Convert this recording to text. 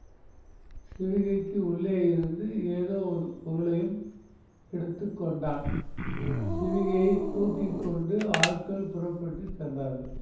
சிவிகைக்கு உள்ளேயிருந்து ஏதோ ஒரு பொருளையும் எடுத்து கொண்டான் சிவிகையைத் தூக்கி கொண்டு ஆட்கள் புறப்பட்டு சென்றார்கள்